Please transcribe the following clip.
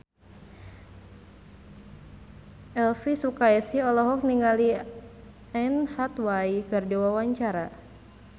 Elvi Sukaesih olohok ningali Anne Hathaway keur diwawancara